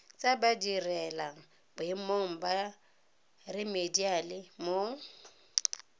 tsa badirelaboemong ba remediale mo